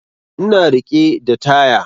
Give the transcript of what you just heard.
Ina riƙe da taya